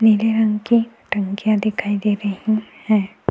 नीले रंग की टंकियां दिखाई दे रही है।